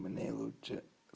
мне лучше